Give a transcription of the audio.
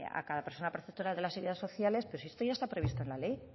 a cada persona perceptora de las ayudas sociales pues si esto ya está previsto en la ley